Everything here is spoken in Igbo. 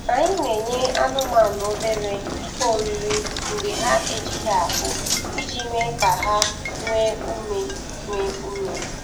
Anyị na-enye anụmanụ obere ihe oriri mgbe ha ejighị ahụ iji mee ka ha nwee ume nwee ume